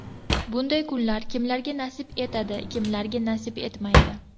Bunday kunlar kimlarga nasib etadi, kimlarga nasib etmaydi.